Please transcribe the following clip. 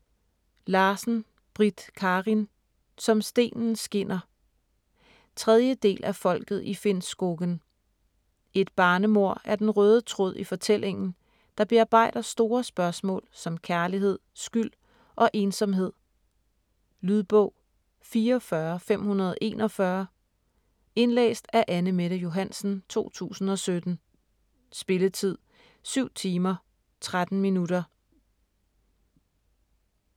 Larsen, Britt Karin: Som stenen skinner 3. del af Folket i Finnskogen. Et barnemord er den røde tråd i fortællingen, der bearbejder store spørgsmål som kærlighed, skyld og ensomhed. Lydbog 44541 Indlæst af Anne-Mette Johansen, 2017. Spilletid: 7 timer, 13 minutter.